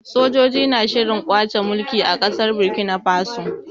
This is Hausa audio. Sojoji na shirin kwace mulki a ƙasar Burkina Faso.